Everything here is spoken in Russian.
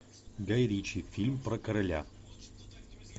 гай ричи фильм про короля